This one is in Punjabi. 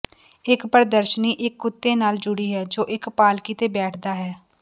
ਇਕ ਪ੍ਰਦਰਸ਼ਨੀ ਇਕ ਕੁੱਤੇ ਨਾਲ ਜੁੜੀ ਹੈ ਜੋ ਇਕ ਪਾਲਕੀ ਤੇ ਬੈਠਦਾ ਹੈ